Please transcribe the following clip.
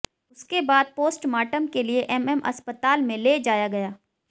उसके बाद पोस्टमार्टम के लिए एमएम अस्पताल में ले जाया गया